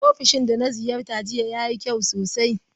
Ofishin da na ziyarta jiya yayi kyau sosai.